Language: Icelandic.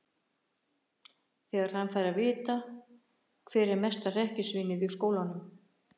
Þegar hann fær að vita hver er mesta hrekkjusvínið í skólanum!